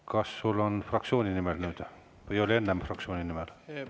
Kas sul on nüüd kõne fraktsiooni nimel või oli enne fraktsiooni nimel?